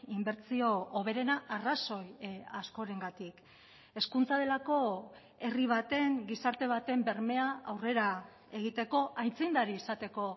inbertsio hoberena arrazoi askorengatik hezkuntza delako herri baten gizarte baten bermea aurrera egiteko aitzindari izateko